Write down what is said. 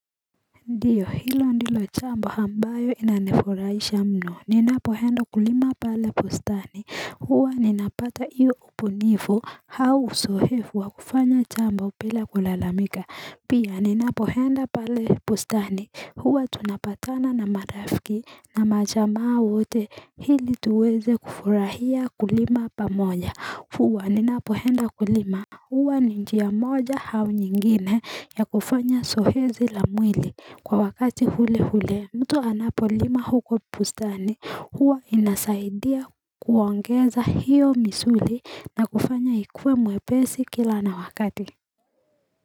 Ndiyo hilo ndilo chambo hambayo inanifuraisha mno ninapohenda kulima pale bustani huwa ninapata iyo ubunifu hau uzoefu wa kufanya jambo bila kulalamika pia ninapohenda pale bustani huwa tunapatana na marafiki na majamaa wote hili tuweze kufurahia kulima pa moja huwa ninapohenda kulima huwa ninjia moja hau nyingine ya kufanya zoezi la mwili Kwa wakati hule hule mtu anapolima huko pustani huwa inasaidia kuongeza hiyo misuli na kufanya ikue mwepesi kila na wakati.